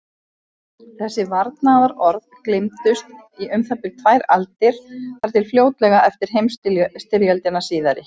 Í hagnýttri stærðfræði gegna formlegar sannanir og skilgreiningar ekki eins stóru hlutverki.